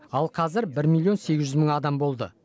ал қазір бір миллион сегіз жүз мың адам болды